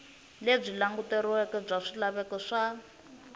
lebyi languteriweke bya swilaveko swa